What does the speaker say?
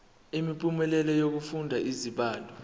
imiphumela yokufunda izibalo